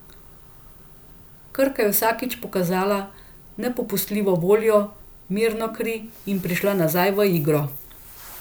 Krka je vsakič pokazala nepopustljivo voljo, mirno kri in prišla nazaj v igro.